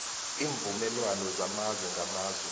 iimvumelwana zamazwe ngamazwe